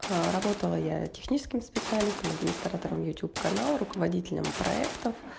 работала я техническим специалистом администратором ютюб канал руководителем проектов